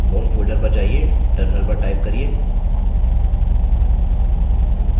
home folder पर जाइये terminal पर टाइप करिये